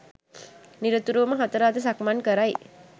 නිරතුරුව හතර අත සක්මන් කරයි.